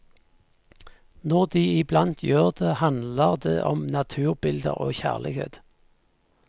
Når de iblant gjør det, handler det om naturbilder og kjærlighet.